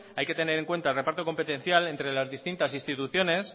hay que tener en cuenta el reparto competencial entre las distintas instituciones